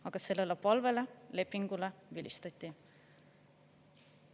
Aga sellele palvele, lepingule vilistati.